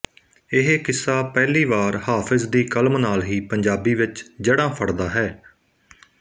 ਇਹ ਕਿੱਸਾ ਪਹਿਲੀ ਵਾਰ ਹਾਫਿਜ਼ ਦੀ ਕਲਮ ਨਾਲ ਹੀ ਪੰਜਾਬੀ ਵਿੱਚ ਜੜ੍ਹਾਂ ਫੜਦਾ ਹੈ